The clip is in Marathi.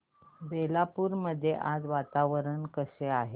बेलापुर मध्ये आज वातावरण कसे आहे